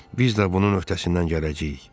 Biz də bunun öhdəsindən gələcəyik.